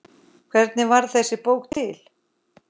Hvernig varð þessi bók til?